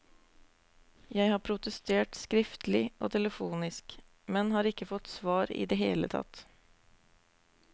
Jeg har protestert skriftlig og telefonisk, men har ikke fått svar i det hele tatt.